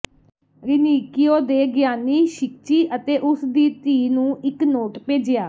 ਰੀਨਿਕਿਓ ਨੇ ਗਿਆਨੀ ਸ਼ਿਕਚੀ ਅਤੇ ਉਸ ਦੀ ਧੀ ਨੂੰ ਇੱਕ ਨੋਟ ਭੇਜਿਆ